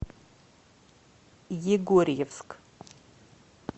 егорьевск